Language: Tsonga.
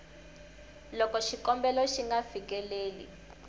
loko xikombelo xi nga fikeleli